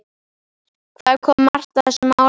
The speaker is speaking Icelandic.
Hvað kom Marta þessu máli við?